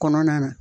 Kɔnɔna na